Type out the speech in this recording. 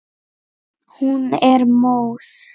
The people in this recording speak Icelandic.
Hún er móð.